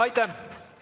Aitäh!